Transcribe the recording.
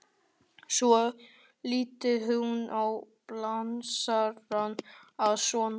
Svo lítur hún á blásarann að sunnan.